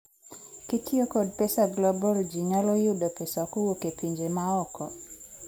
kitiyo kod mpesa Global, ji nyalo yudo pesa kowuok e pinje maoko